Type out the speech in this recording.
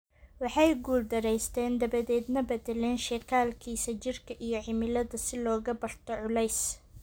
Waxay guuldaraysteen dabadeedna beddelaan shekalkiisa jirka iyo cimilada si looga barto culeys.